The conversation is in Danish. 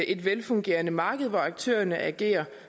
et velfungerende marked hvor aktørerne agerer